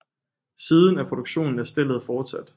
Siden er produktionen af stellet fortsat